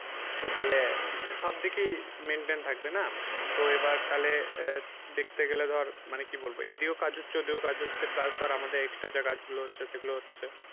তো তাহলে সব দিকেই maintain থাকবে না। তো এবার তাহলে আহ দেখতে গেলে ধর মানে কি বলবো এদিকেও কাজ হচ্ছে ওদিকেও কাজ হচ্ছে plus ধর আমাদের extra যে কাজ গুলো হচ্ছে সেগুলো হচ্ছে